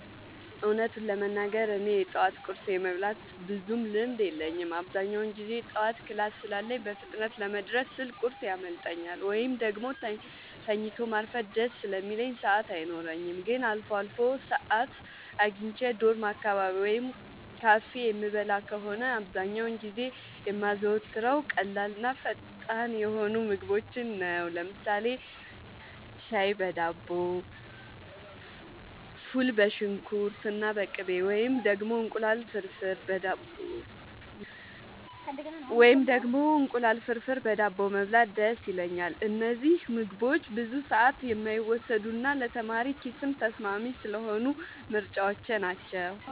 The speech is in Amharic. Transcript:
እውነቱን ለመናገር እኔ የጠዋት ቁርስ የመብላት ብዙም ልምድ የለኝም። አብዛኛውን ጊዜ ጠዋት ክላስ ስላለኝ በፍጥነት ለመድረስ ስል ቁርስ ያመልጠኛል፤ ወይም ደግሞ ተኝቶ ማርፈድ ደስ ስለሚለኝ ሰዓት አይኖረኝም። ግን አልፎ አልፎ ሰዓት አግኝቼ ዶርም አካባቢ ወይም ካፌ የምበላ ከሆነ፣ አብዛኛውን ጊዜ የማዘወትረው ቀላልና ፈጣን የሆኑ ምግቦችን ነው። ለምሳሌ ሻይ በዳቦ፣ ፉል በሽንኩርትና በቅቤ፣ ወይም ደግሞ እንቁላል ፍርፍር በዳቦ መብላት ደስ ይለኛል። እነዚህ ምግቦች ብዙ ሰዓት የማይወስዱና ለተማሪ ኪስም ተስማሚ ስለሆኑ ምርጫዎቼ ናቸው።